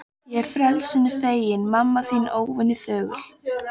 Ég frelsinu feginn, mamma þín óvenju þögul.